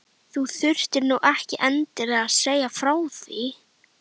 Þú þurftir nú ekki endilega að segja frá því